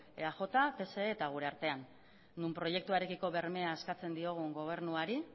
eaj pse eta gure artean non proiektuarekiko bermea eskatzen diogu gobernuari